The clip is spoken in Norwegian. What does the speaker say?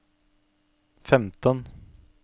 femten